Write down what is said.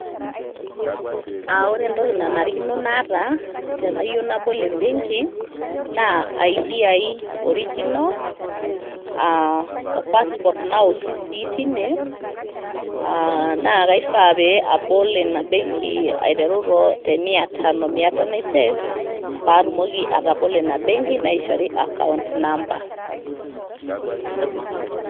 Aa ore entoki naanarikino naata tenayieu nabol ebenki naa, Identify Document Original aa o passport nawoshi sii teine aa naa kaifaa paiteru abol Ina benki aiteru temiatono. Miatano aisef paatumoki atobolo Ina benki naishori account number